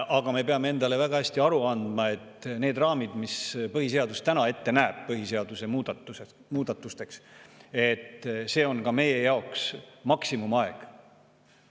Aga me peame endale väga hästi aru andma, et see raam, mida põhiseadus põhiseaduse muutmiseks ette näeb, on ka meie jaoks maksimumaeg.